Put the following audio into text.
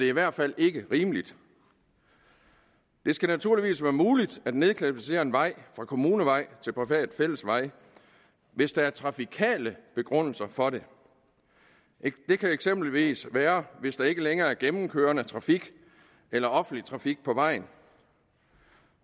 i hvert fald ikke rimeligt det skal naturligvis være muligt at nedklassificere en vej fra kommunevej til privat fællesvej hvis der er trafikale begrundelser for det det kan eksempelvis være hvis der ikke længere er gennemkørende trafik eller offentlig trafik på vejen